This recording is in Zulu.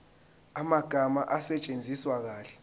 amagama asetshenziswe kahle